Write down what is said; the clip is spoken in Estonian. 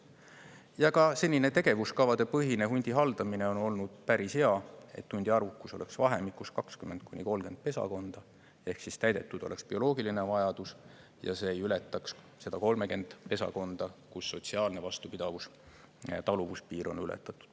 Ja ka senine tegevuskavadepõhine hundi haldamine on olnud päris hea, et hundi arvukus oleks vahemikus 20–30 pesakonda ehk täidetud oleks bioloogiline vajadus ja see ei ületaks 30 pesakonda, nii et sotsiaalne vastupidavus-taluvuspiir oleks ületatud.